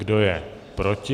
Kdo je proti?